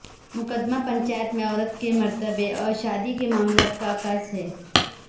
مقدمہ پنجاب میں عورت کے مرتبہ اور شادی کے معاملات کا عکاس ہے